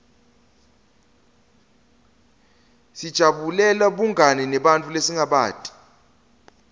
sijabulela bungani nebantfu lesingabati